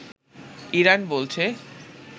Iran বলছে